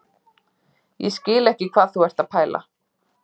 Ég skil ekki hvað þú ert að pæla